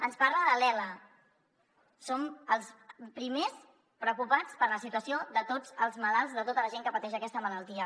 ens parla de l’ela som els primers preocupats per la situació de tots els malalts de tota la gent que pateix aquesta malaltia